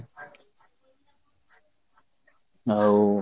ଆଉ